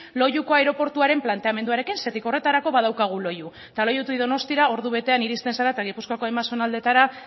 loiuko aireportuaren planteamenduarekin zergatik horretarako badaukagu loiu eta loiutik donostiara ordubetean iristen zara eta gipuzkoako hainbat zonaldeetara